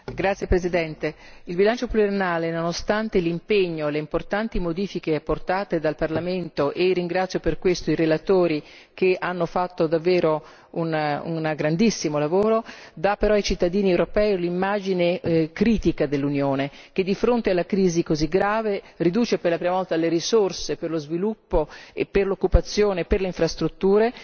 Signor Presidente, il bilancio pluriennale nonostante l'impegno e le importanti modifiche apportate dal Parlamento, di cui ringrazio i relatori, che hanno svolto un grandissimo lavoro dà ai cittadini europei l'immagine critica dell'Unione perché, di fronte ad una crisi così grave, riduce per la prima volta le risorse per lo sviluppo e l'occupazione, per le infrastrutture,